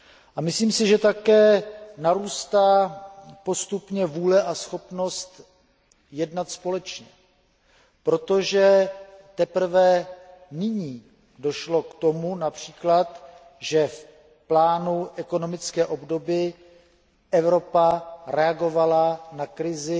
A myslím si, že také narůstá postupně vůle a schopnost jednat společně, protože teprve nyní došlo např. k tomu, že v plánu ekonomické obnovy Evropa reagovala na krizi